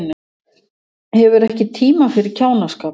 Hefur ekki tíma fyrir kjánaskap